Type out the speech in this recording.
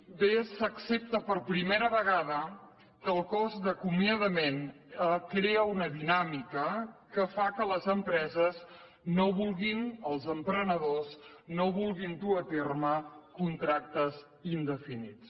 i bé s’accepta per primera vegada que el cost d’acomiadament crea una dinàmica que fa que les empreses els emprenedors no vulguin dur a terme contractes indefinits